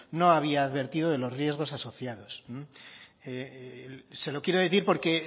no había advertido de los riesgos asociados se lo quiero decir porque